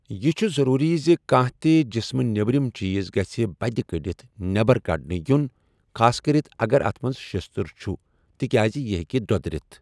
یہِ چھُ ضروٗری زِ کانٛہہ تہِ جِسمہٕ نیبرِم چیز گژھِ بدِ كڈتھ نیبر كڈنہٕ یٗن ، خاصكرِتھ اگر اتھ منز شستٕر چھٗ تہِ كیازِ یہِ ہیكہِ دو٘درِتھ ۔